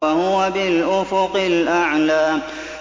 وَهُوَ بِالْأُفُقِ الْأَعْلَىٰ